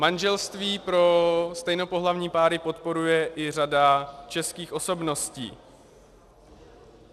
Manželství pro stejnopohlavní páry podporuje i řada českých osobností.